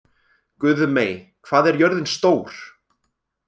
Guðmey, hvað er jörðin stór?